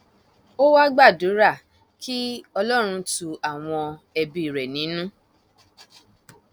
ó wàá gbàdúrà kí ọlọrun tu àwọn ẹbí rẹ nínú